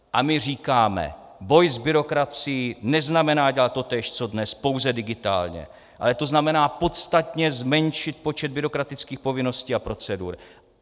A my říkáme: Boj s byrokracií neznamená dělat totéž co dnes, pouze digitálně, ale to znamená podstatně zmenšit počet byrokratických povinností a procedur.